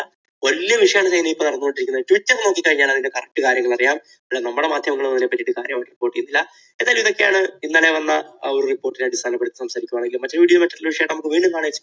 വലിയ വിഷയമാണ് ചൈനയിൽ ഇപ്പോൾ നടന്നുകൊണ്ടിരിക്കുന്നത്. twitter നോക്കിക്കഴിഞ്ഞാൽ അതിന്റെ correct കാര്യങ്ങൾ അറിയാം. നമ്മുടെ മാധ്യമങ്ങളും അതിനെപ്പറ്റി കാര്യമായിട്ട് report ചെയ്യുന്നില്ല. ഏതായാലും ഇതൊക്കെയാണ് ഇന്നലെ വന്ന ആ report നെപ്പറ്റി സംസാരിക്കുകയാണെങ്കിൽ മറ്റൊരു video യും ആയിട്ട് നമുക്ക് വീണ്ടും കാണാം education